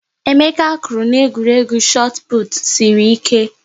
Emeka kwụrụ na egwuregwu chot put sịrị ike